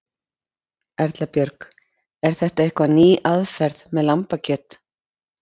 Erla Björg: Er þetta eitthvað ný aðferð með lambakjöt?